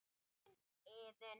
Þín Iðunn.